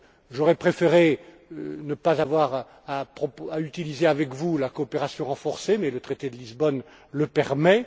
J'aurais préféré ne pas avoir à utiliser avec vous la coopération renforcée mais le traité de Lisbonne le permet.